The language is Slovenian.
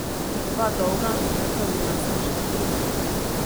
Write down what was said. Dva dolga, nepravilna srčna utripa.